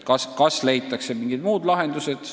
Vahest leitakse mingid muud lahendused.